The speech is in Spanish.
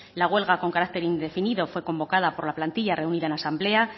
la huelga con carácter indefinido fue convocada por la plantilla reunida en asamblea